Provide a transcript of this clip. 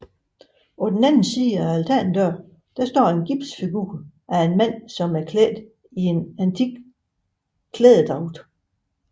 På den anden side af altandøren står der en gipsfigur af en mand iklædt en antik klædedragt